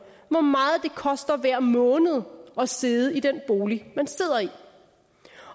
hvor meget det koster hver måned at sidde i den bolig man sidder i